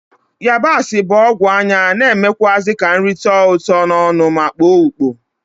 Yabasi bụ ọgwụ anya na-emekwụazị ka nrị tọọ ụtọ n'ọnụ ma kpoo ukpo,